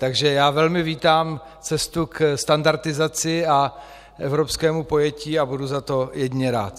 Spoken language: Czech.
Takže já velmi vítám cestu ke standardizaci a evropskému pojetí a budu za to jedině rád.